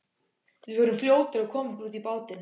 Við vorum fljótir að koma okkur út í bátinn.